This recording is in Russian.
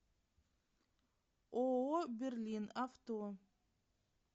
ооо берлин авто